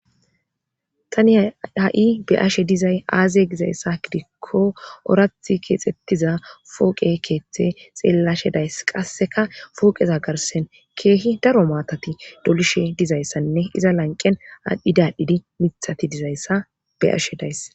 Tani ha7i be ashe dizay aazye gizayssa gidikko orathi keexxettiza fooqe keeththe xeellashe days qasseka fooqeza garsen keehi daro maatati dolishe dizayssanne iza lanqen aadhdhidadhidi mithati dizayssa be'ashe days.